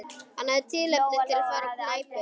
Hann hafði tilefni til að fara á knæpu.